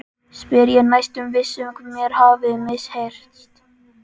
spyr ég, næstum viss um mér hafi misheyrst.